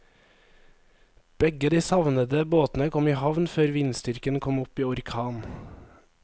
Begge de savnede båtene kom i havn før vindstyrken kom opp i orkan.